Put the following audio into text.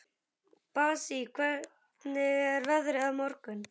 Bassí, hvernig er veðrið á morgun?